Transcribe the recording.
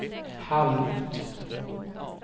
halvt